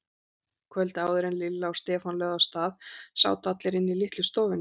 Kvöldið áður en Lilla og Stefán lögðu af stað sátu allir inni í litlu stofunni.